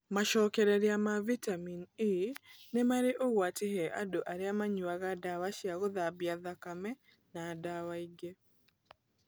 Macokereria ma Vitamini E nĩ marĩ ũgwati he andũ arĩa manyuaga ndawa cia gũthambia thakame na dawa ingĩ.